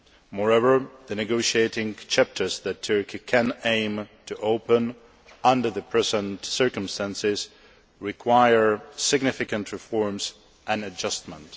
Moreover, the negotiating chapters that Turkey can aim to open under the present circumstances require significant reforms and adjustments.